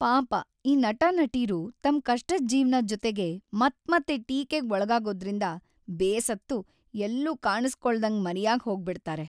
ಪಾಪ ಈ ನಟ-ನಟೀರು ತಮ್ ಕಷ್ಟದ್ ಜೀವ್ನ ಜೊತೆಗೆ ಮತ್ಮತ್ತೆ ಟೀಕೆಗ್ ಒಳ್ಗಾಗೋದ್ರಿಂದ ಬೇಸತ್ತು ಎಲ್ಲೂ ಕಾಣುಸ್ಕೊಳ್ದಂಗ್‌ ಮರೆಯಾಗ್‌ ಹೋಗ್ಬಿಡ್ತಾರೆ.